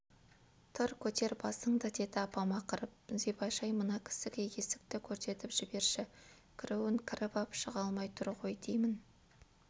тұр көтер басыңды деді апам ақырып зибаш-ай мына кісіге есікті көрсетіп жіберші кіруін кіріп ап шыға алмай тұр ғой деймін